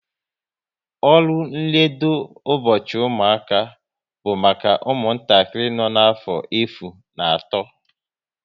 Ụlọ nledo ụbọchị ụmụaka bụ maka ụmụntakịrị nọ n'afọ efu na atọ